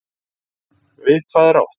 Við hvað er átt?